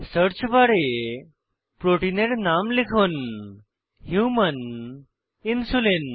search বারে প্রোটিনের নাম লিখুন হুমান ইনসুলিন